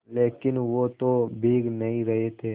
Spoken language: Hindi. लेकिन वो तो भीग नहीं रहे थे